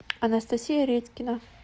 анастасия редькина